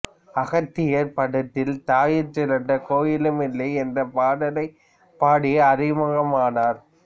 அகத்தியர் படத்தில் தாயிற் சிறந்த கோயிலும் இல்லை என்ற பாடலைப் பாடி அறிமுகமானார்